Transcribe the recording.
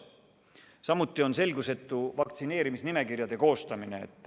Samuti on selgusetu vaktsineerimisnimekirjade koostamine.